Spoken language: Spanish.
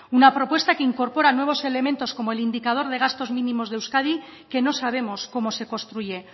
una propuesta que incorpora nuevos elementos como el indicador de gastos mínimos de euskadi que no sabemos cómo se construye